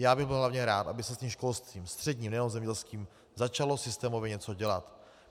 Já bych byl hlavně rád, aby se s tím školstvím, středním, nejenom zemědělským, začalo systémově něco dělat.